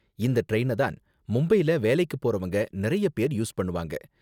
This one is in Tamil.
இந்த டிரைன தான் மும்பைல வேலைக்கு போறவங்க நிறைய பேர் யூஸ் பண்ணுவாங்க.